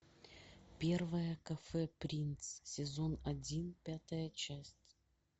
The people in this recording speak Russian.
первое кафе принц сезон один пятая часть